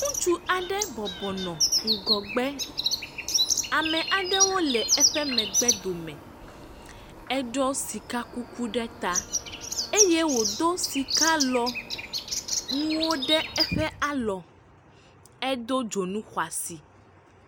Ŋutsu aɖe bɔbɔ nɔ ŋgɔgbe. Ame aɖewo le eƒe megbedome. Eɖiɔ sikakuku ɖe ta eye wòdo sikalɔnuwo ɖe eƒe alɔ. Edo dzonu xɔasi.